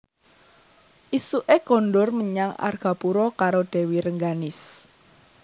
Ésuké kondur menyang Argapura karo Dèwi Rengganis